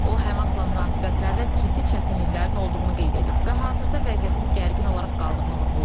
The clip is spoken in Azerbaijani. O Həmasla münasibətlərdə ciddi çətinliklərin olduğunu qeyd edib və hazırda vəziyyətin gərgin olaraq qaldığını vurğulayıb.